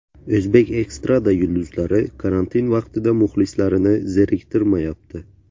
O‘zbek estrada yulduzlari karantin vaqtida muxlislarini zeriktirmayapti.